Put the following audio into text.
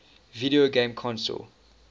video game console